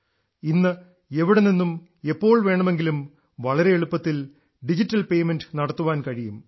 ഇന്ന് എവിടെ നിന്നും എപ്പോൾ വേണമെങ്കിലും വളരെ എളുപ്പത്തിൽ ഡിജിറ്റൽ പെയ്മെന്റ് നടത്താൻ കഴിയും